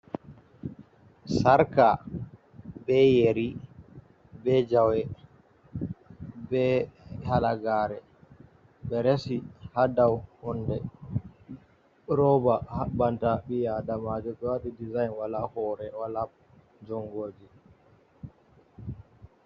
Sarka be yeri be jawe be halagare ɓe resi ha dau hunde roba haɓɓanta ɓi adamajo. Ɓe waɗi dezign wala hore wala jonguji.